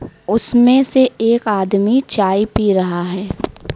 उसमें से एक आदमी चाय पी रहा है।